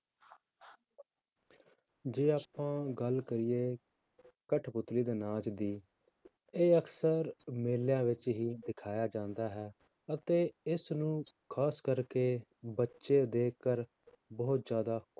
ਜੇ ਆਪਾਂ ਗੱਲ ਕਰੀਏ ਕਟਪੁਤਲੀ ਦੇ ਨਾਚ ਦੀ ਇਹ ਅਕਸਰ ਮੇਲਿਆਂ ਵਿੱਚ ਹੀ ਦਿਖਾਇਆ ਜਾਂਦਾ ਹੈ, ਅਤੇ ਇਸਨੂੰ ਖ਼ਾਸ ਕਰਕੇ ਬੱਚੇ ਦੇਖ ਕਰ ਬਹੁਤ ਜ਼ਿਆਦਾ